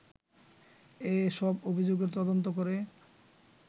এ সব অভিযোগের তদন্ত করে